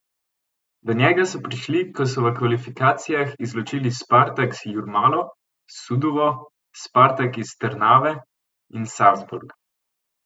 Do njega so prišli, ko so v kvalifikacijah izločili Spartaks Jurmalo, Suduvo, Spartak iz Trnave in Salzburg.